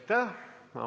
Aitäh!